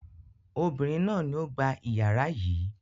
Obìnrin náà ni ó gba ìyàrá yìí.